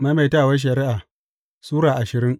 Maimaitawar Shari’a Sura ashirin